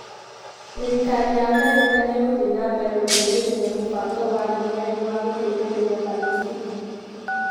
Thirikari ya Amerika nĩ ĩgũthiĩ na mbere gũteithĩrĩria mũbango wa UN wa gũteithĩrĩria Palestina.